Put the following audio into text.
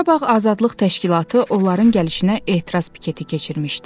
Qarabağ Azadlıq təşkilatı onların gəlişinə etiraz piketi keçirmişdi.